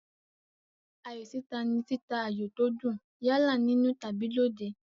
Ayò títa ni títa ayò tó dùn, yálà nínú tàbí lóde.